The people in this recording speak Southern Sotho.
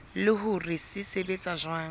le hore se sebetsa jwang